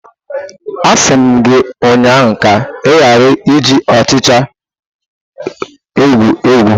Asi m gi ụnyahụ ka ị ghara iji ọchịcha egwu egwu!